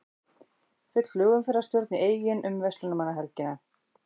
Full flugumferðarstjórn í Eyjum um verslunarmannahelgina